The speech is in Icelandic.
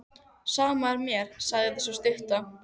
Sama er mér, sagði sú stutta.